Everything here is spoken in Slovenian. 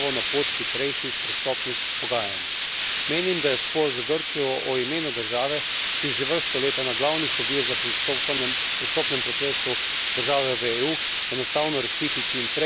Menim, da je spor z Grčijo o imenu države, ki je že vrsto let ena glavnih ovir za pristopanje v pristopnem procesu države v EU, enostavno rešiti čim prej in ne več vplivati na začetek pogajanj.